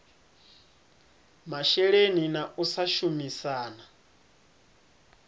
masheleni na u sa shumisana